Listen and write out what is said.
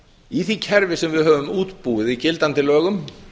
í því kerfi sem við höfum útbúið í gildandi lögum